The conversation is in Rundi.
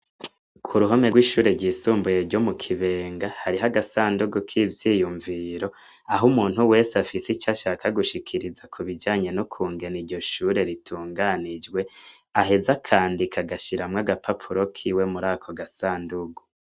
Ku ruhome rw’ishure ryisumbuye ryo mu Kibenga, hariho agasandugu k’ivyiyumviro aho umuntu wese afise ico ashaka gushikiriza ku bijanye nokungene iryo shure ritunganijwe, aheza akandika agashiramwo agapapuro kiwe muri ako gasandugu.